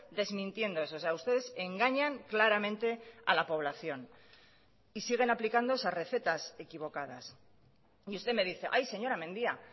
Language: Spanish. desmintiendo eso o sea ustedes engañan claramente a la población y siguen aplicando esas recetas equivocadas y usted me dice ay señora mendia